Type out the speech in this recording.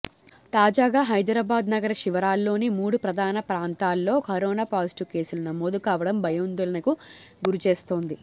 తాజాగా హైదరాబాద్ నగర శివార్లలోని మూడు ప్రధాన ప్రాంతాల్లో కరోనా పాజిటివ్ కేసులు నమోదు కావడం భయాందోళనకు గురి చేస్తోంది